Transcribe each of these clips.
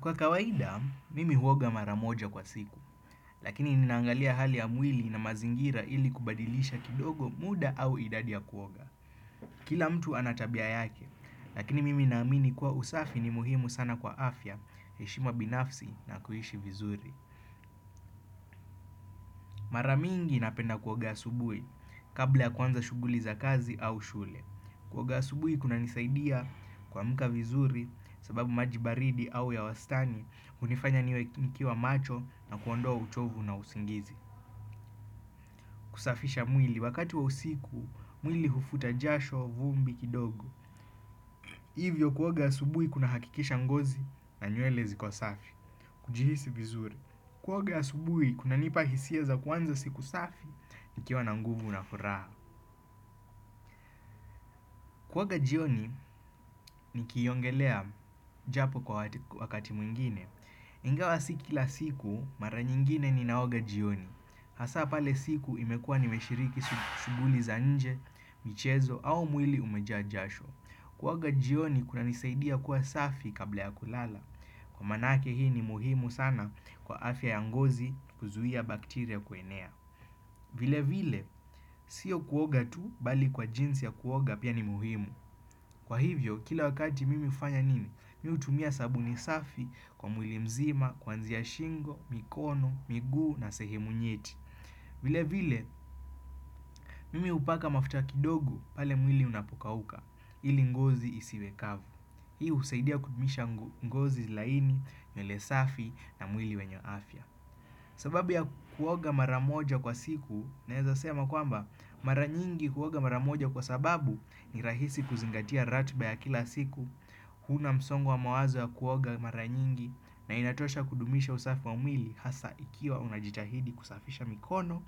Kwa kawaida, mimi huoga maramoja kwa siku, lakini ninaangalia hali ya mwili na mazingira ili kubadilisha kidogo muda au idadi ya kuoga. Kila mtu anatabia yake, lakini mimi naamini kuwa usafi ni muhimu sana kwa afya, heshima binafsi na kuishi vizuri. Maramingi napenda kuoga asubuhi, kabla ya kuanza shughuli za kazi au shule. Kuoga asubuji kunanisaidia kuamka vizuri sababu maji baridi au ya wastani hunifanya niwe nikiwa macho na kuondoa uchovu na usingizi. Kusafisha mwili wakati wa usiku, mwili hufuta jasho vumbi kidogo. Hivyo kuoga asubuhi kunahakikisha ngozi na nywele ziko safi. Kujihisi vizuri. Kuoga asubuhi kunanipa hisia za kuanza siku safi, nikiwa na nguvu na furaha. Kuoga jioni nikiongelea japo kwa wakati mwingine. Ingawa si kila siku mara nyingine ninaoga jioni. Hasa pale siku imekua nimeshiriki shughuli za nje, michezo au mwili umejaa jasho. Kuoga jioni kunanisaidia kuwa safi kabla ya kulala. Kwa maanake hii ni muhimu sana kwa afya ya ngozi kuzuia bakteria kuenea. Vile vile, sio kuoga tu bali kwa jinsi ya kuoga pia ni muhimu. Kwa hivyo, kila wakati mimi ufanya nini? Mimi hutumia sabuni safi kwa mwili mzima, kwanzia shingo, mikono, miguu na sehemu nyeti. Vile vile, mimi hupaka mafuta kidogo pale mwili unapokauka ili ngozi isiwekavu. Hii husaidia kudumisha ngozi laini nywele safi na mwili wenye afya. Sababu ya kuoga mara moja kwa siku naeza sema kwamba mara nyingi huoga mara moja kwa sababu ni rahisi kuzingatia ratiba ya kila siku huna msongo mawazo ya kuoga mara nyingi na inatosha kudumisha usafi wa mwili hasa ikiwa unajitahidi kusafisha mikono,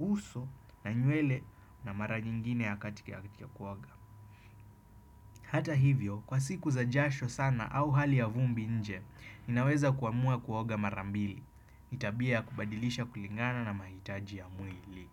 uso na nywele na mara nyingine ya katika ya kuoga Hata hivyo kwa siku za jasho sana au hali ya vumbi nje ninaweza kuamua kuoga mara mbili tabia kubadilisha kulingana na mahitaji ya mwili.